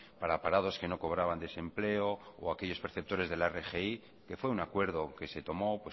para parados que no cobraban desempleo o aquellos perceptores de la rgi que fue un acuerdo que se tomó